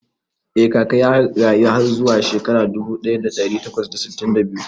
Eh Kaka ya rayu har zuwa shekara dubu ɗaya da ɗari takwas da sittin da biyu